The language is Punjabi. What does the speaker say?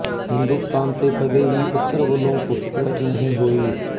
ਹਿੰਦੁਸਤਾਨ ਤੇ ਕਦੇ ਵੀ ਉੱਤਰ ਵੱਲੋਂ ਘੁਸਪੈਠ ਨਹੀਂ ਹੋਈ